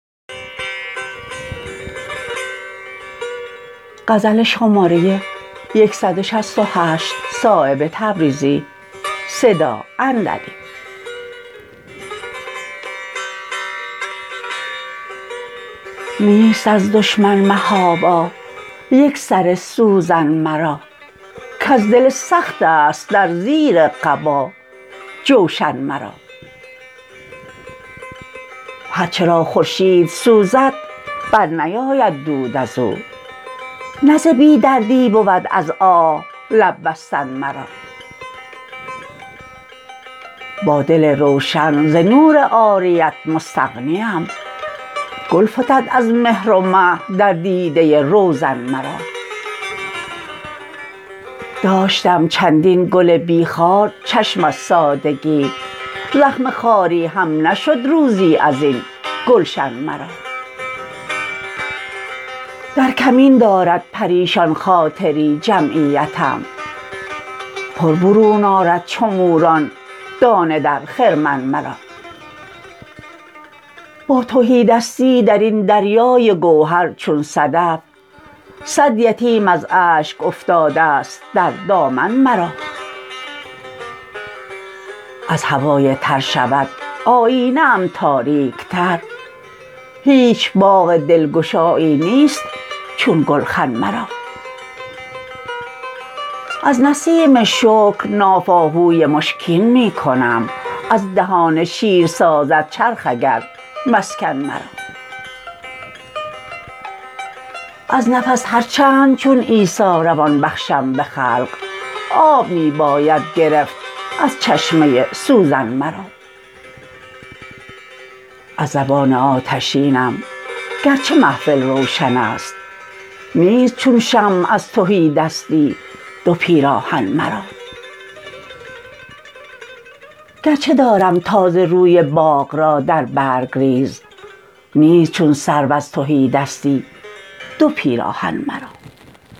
نیست از دشمن محابا یک سر سوزن مرا کز دل سخت است در زیر قبا جوشن مرا هر چه را خورشید سوزد برنیاید دود ازو نه ز بی دردی بود از آه لب بستن مرا با دل روشن ز نور عاریت مستغنیم گل فتد از مهر و مه در دیده روزن مرا داشتم چندین گل بی خار چشم از سادگی زخم خاری هم نشد روزی ازین گلشن مرا در کمین دارد پریشان خاطری جمعیتم پر برون آرد چو موران دانه در خرمن مرا با تهیدستی درین دریای گوهر چون صدف صد یتیم از اشک افتاده است در دامن مرا از هوای تر شود آیینه ام تاریک تر هیچ باغ دلگشایی نیست چون گلخن مرا از نسیم شکر ناف آهوی مشکین کنم از دهان شیر سازد چرخ اگر مسکن مرا از نفس هر چند چون عیسی روان بخشم به خلق آب می باید گرفت از چشمه سوزن مرا از زبان آتشینم گرچه محفل روشن است نیست چون شمع از تهیدستی دو پیراهن مرا گرچه دارم تازه روی باغ را در بر گریز نیست چون سرو از تهیدستی دو پیراهن مرا